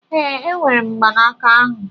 Ee, enwere m mgbanaka ahụ.